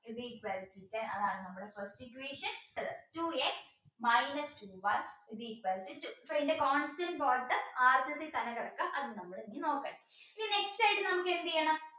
is equal to ten അതാണ് നമ്മുടെ first equation two x minus two y is equal to two so ഇതിന്റെ constant part തന്നെ കിടക്ക അത് നമ്മൾ ഇനി നോക്കണ്ട ഇനി next ആയിട്ട് നമുക്ക് എന്ത് ചെയ്യണം